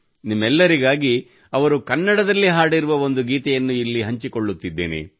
ನಿಮ್ಮೆಲ್ಲರಿಗಾಗಿ ಅವರು ಕನ್ನಡದಲ್ಲಿ ಹಾಡಿರುವ ಒಂದು ಗೀತೆಯನ್ನು ಇಲ್ಲಿ ಹಂಚಿಕೊಳ್ಳುತ್ತಿದ್ದೇನೆ